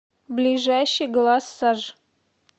ближайший глассажъ